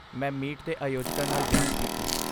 ਮੈਂ ਮੀਟ ਦੇ ਆਯੋਜਕਾਂ ਨਾਲ ਜਾਂਚ ਕੀਤੀ।